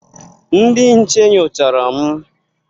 Ndị nche nyochara m.